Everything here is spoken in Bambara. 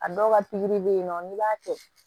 A dɔw ka pikiri bɛ ye nɔ n'i b'a kɛ